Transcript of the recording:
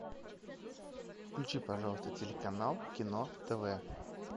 включи пожалуйста телеканал кино тв